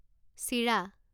চিৰা